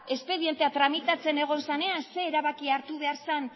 espedientea tramitatzen egon zenean ze erabaki hartu behar zen